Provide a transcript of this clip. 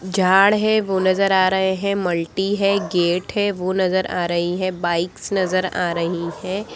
झाड़ है वो नजर आ रहै है। मल्टी है गेट है वो नजर आ रही है। बाइक्स नजर आ रही है।